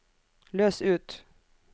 løs ut